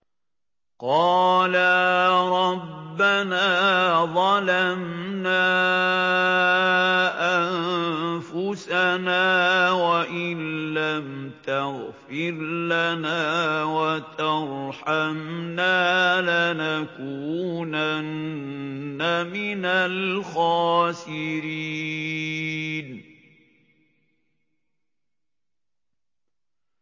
قَالَا رَبَّنَا ظَلَمْنَا أَنفُسَنَا وَإِن لَّمْ تَغْفِرْ لَنَا وَتَرْحَمْنَا لَنَكُونَنَّ مِنَ الْخَاسِرِينَ